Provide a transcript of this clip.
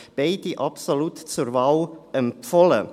Beide sind absolut zur Wahl empfohlen.